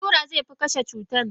Allura zefi kashey cutannan.